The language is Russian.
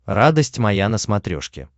радость моя на смотрешке